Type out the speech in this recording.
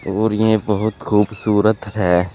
और ये बहुत खूबसूरत है।